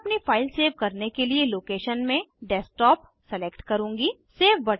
मैं अपनी file save करने के लिए लोकेशन में डेस्कटॉप सलेक्ट करूंगी